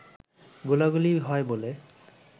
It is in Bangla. গোলাগুলি হয় বলে